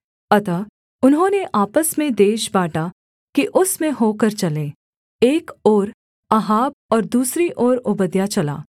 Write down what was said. अतः उन्होंने आपस में देश बाँटा कि उसमें होकर चलें एक ओर अहाब और दूसरी ओर ओबद्याह चला